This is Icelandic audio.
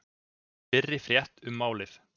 Fyrri frétt um málið